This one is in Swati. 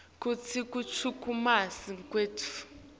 kutsi kuchumanisa kwetfu